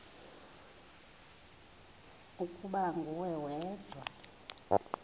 ukuba nguwe wedwa